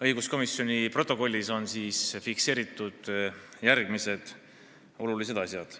Õiguskomisjoni protokollis on fikseeritud järgmised olulised asjad.